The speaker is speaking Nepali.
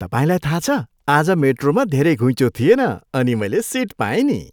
तपाईँलाई थाहा छ? आज मेट्रोमा धेरै घुइँचो थिएन अनि मैले सिट पाएँ नि।